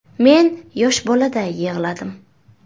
“Men yosh boladay yig‘ladim”.